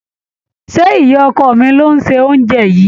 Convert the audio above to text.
Ṣé ìyá ọkọ mi ló se oúnjẹ yìí?